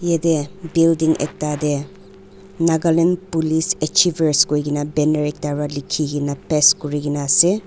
yatae building ekta tae nagaland police achievers koikena banner ekta pa likhi kena paste kurikena ase.